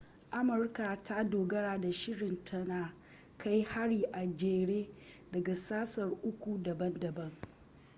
amurka ta dogara da shirin ta na kai hari a jere daga sassa uku daban-daban